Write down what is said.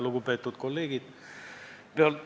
Lugupeetud kolleegid!